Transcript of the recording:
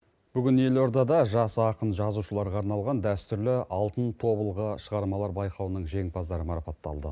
бүгін елордада жас ақын жазушыларға арналған дәстүрлі алтын тобылғы шығармалар байқауының жеңімпаздары марапатталды